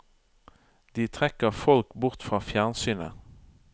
De trekker folk bort fra fjernsynet.